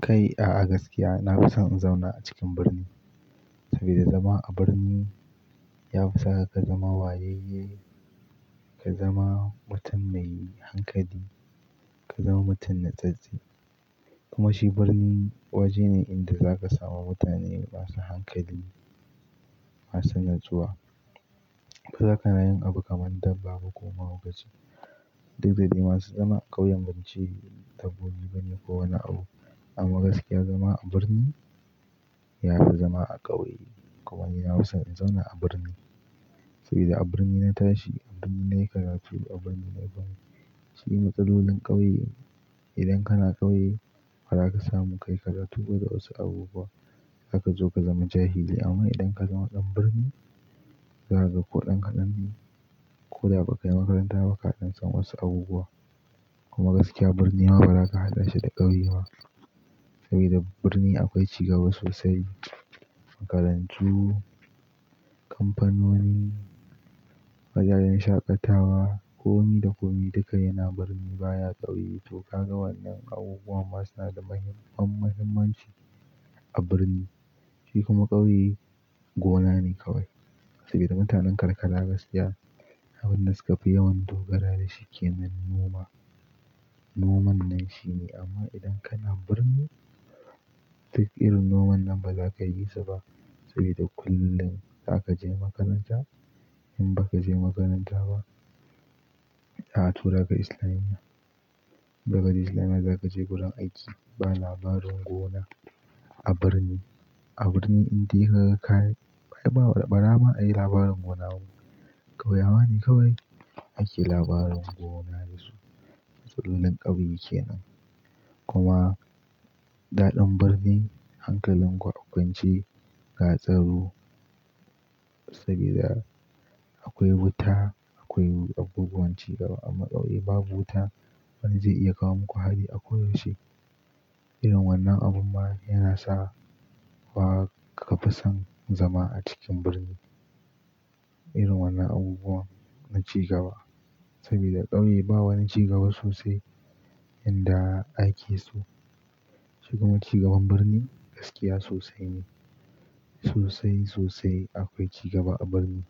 Kai, a'a gaskiya na fi son in zauna a cikin birni saboda zama a birni ya fi saka ka zama wayayye, ka zama mutum mai hankali, ka zama mutum na tsatste. Kuma shi birni waje ne inda za ka samu mutane masu hankali, masu natsuwa. Ba za kana yin abu kamar dabba ko ma'ugaci. Duk da dai masu zama a ƙauyen bance dabbobi bane ko wani abu. Amma gaskiya zama a birni ya fi zama a ƙauye. Kuma ina son in zauna a birni saboda a birni na tashi, a birni na yi karatu, a birni na yi ban. Shi matsalolin ƙauye idan kana ƙauye ba za ka samu kai ka karatu ko da wasu abubuwa. Za ka zo ka zama jahili amma idan ka zama ɗan birni, za ka ga ko ɗan kaɗan ne ko da ba ka yi makaranta ba ka san wasu abubuwa. Kuma gaskiya birni ma ba za ka haɗa shi da ƙauye ba saboda birni akwai cigaba sosai. Makarantu, kamfanoni, wajajen shaƙatawa, komi da komi duka yana birni baya ƙauye. To ka ga wannan abubuwan masu na da muhimman muhimmanci a birni. Shi kuma ƙauye gona ne kawai saboda mutanen karkara gaskiya abin da suka fi yawan dogara da shi ke nan noma. Noman nan shine amma idan kana birni duk irin noman nan ba za ka yi sa ba saboda kullum za ka je makaranta. In ba ka je makaranta ba, za a tura ka Islamiyya. Daga Islamiyya za ka je gurin aiki. Ba labarin gona a birni. A birni indai har ka ba, ba, ba dama a yi labarin gona ba. Kauyawa ne kawai ake labarin gona da su. Matsalolin ƙauye ke nan. Kuma daɗin birni, hankalin ku akwance, ga tsaro saboda akwai wuta, akwai abubuwan cigaba amma ƙauye babu wuta. Wanne zai iya kawo muku hari ako yaushe irin wannan abun ma yana sa wa ka fi son zama a cikin birni. Irin wannan abubuwan na cigaba saboda ƙauye ba wani cigaba sosai yanda ake so. Shi kuma cigaban birni gaskiya sosai ne. Sosai, sosai akwai cigaba a birni.